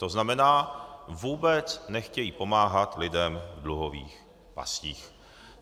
To znamená, vůbec nechtějí pomáhat lidem v dluhových pastích.